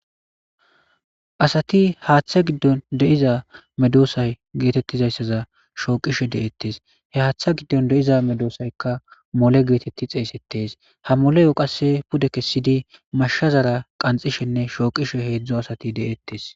Asati haathe giddon de7iza medosata shooqishe de7etes ha haatha giddon de7iza medoosayka mole getetees ha moleye qasse kesidinne mashazara kanxxishenne shooqishe de7rtes.